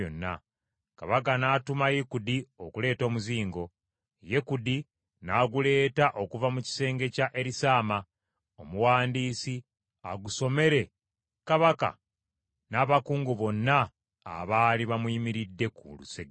Kabaka n’atuma Yekudi okuleeta omuzingo, Yekudi n’aguleeta okuva mu kisenge kya Erisaama omuwandiisi agusomere kabaka n’abakungu bonna abaali bamuyimiridde ku lusegere.